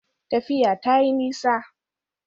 Tafiya ta yi nisa